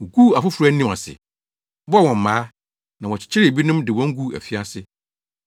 Woguu afoforo anim ase, bɔɔ wɔn mmaa, na wɔkyekyeree ebinom de wɔn guu afiase.